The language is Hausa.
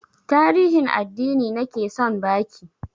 Tarihin addini nake son ba ki